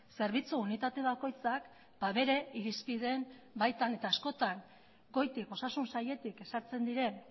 zerbitzu unitate bakoitzak bere irizpideen baitan eta askotan goitik osasun sailetik ezartzen diren